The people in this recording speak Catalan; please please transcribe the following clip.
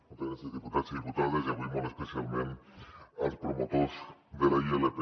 moltes gràcies diputats i diputades i avui molt especialment als promotors de la ilp